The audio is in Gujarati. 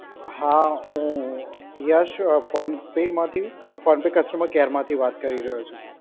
હા હું યશ ફોન પે માંથી ફોન પે કસ્ટમર કેર માંથી વાત કરી રહ્યો છું.